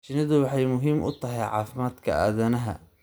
Shinnidu waxay muhiim u tahay caafimaadka aadanaha.